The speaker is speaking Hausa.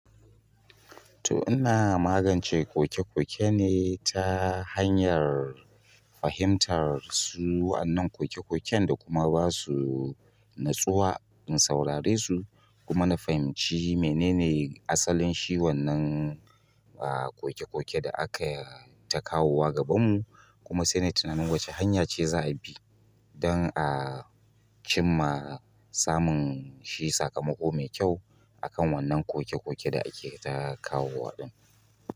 To ina magance koke-koke ne ta hanyar fahimtar su wannan koke-koken da kuma ba su natsuwa in saurare su kuma na fahimci menene asalin shi wannan, a koke koke da aka yi ta kawowa gabanmu kuma sai na yi tunanin wace hanya ce za a bi don a cimma samun shi sakamako mai kyau a kan wannan koke koke da ake ta kawowa ɗin.